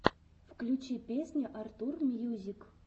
включи песня артур мьюзик